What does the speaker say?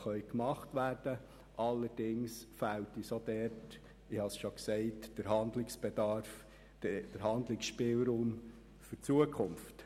Allerdings fehlt uns dort auch, wie ich bereits gesagt habe, der Handlungsspielraum für die Zukunft.